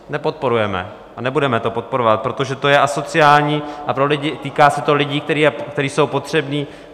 Nepodporujeme a nebudeme to podporovat, protože to je asociální a týká se to lidí, kteří jsou potřební.